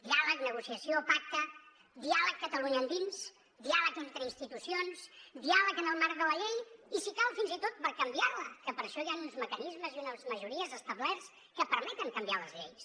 diàleg negociació pacte diàleg catalunya endins diàleg entre institucions diàleg en el marc de la llei i si cal fins i tot per canviar la que per això hi han uns mecanismes i unes majories establerts que permeten canviar les lleis